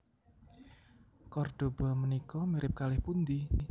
Kordoba menika mirip kalih pundi?